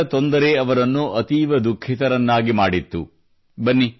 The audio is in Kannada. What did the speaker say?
ಮಂಡಿಗಳ ತೊಂದರೆ ಅವರನ್ನು ಅತೀವ ದುಃಖಿತರನ್ನಾಗಿ ಮಾಡಿತ್ತು